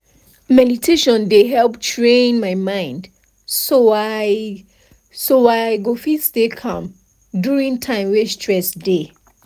meditation dey help train my mind so i so i go fit stay calm during time wey stress dey